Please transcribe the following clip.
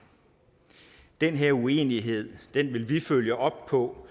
den her uenighed vil vi følge op på